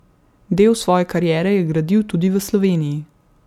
Del svoje kariere je gradil tudi v Sloveniji.